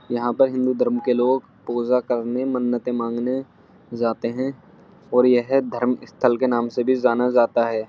यहाँ पर हिंदू धर्म के लोग पूजा करने मन्नतें मांगने जाते हैं और यह धर्म स्थल के नाम से भी जाना जाता है।